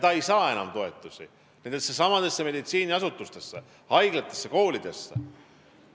Ta ei saa enam toetusi nendesamade meditsiiniasutuste, haiglate ja koolide tarbeks.